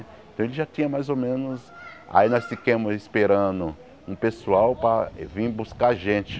Então ele já tinha mais ou menos... aí nós fiquemos esperando um pessoal para vim buscar a gente.